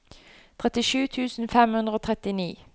trettisju tusen fem hundre og trettini